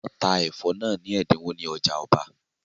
Wọ́n ta ẹ̀fọ́ náà ni ẹ̀dínwó ní ọjà ọba